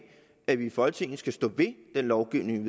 at vi i folketinget skal stå ved den lovgivning